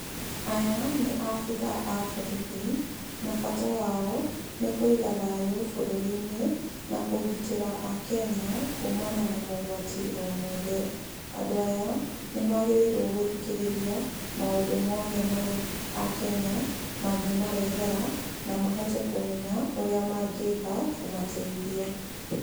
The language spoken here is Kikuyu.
Aya, nĩ abirha a borithi, na bata wao, nĩ kũiga thayu bũrũri-inĩ, na ũgitĩra akenya kumana na mogwati o mothe. Andũ aya, nĩ magĩrĩirwo gũthikĩrĩria maũndũ o mothe marĩa akenya mangĩmarehera, na mahote kũmenya ũrĩa mangĩka kũmateithia.